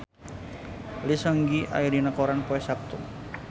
Lee Seung Gi aya dina koran poe Saptu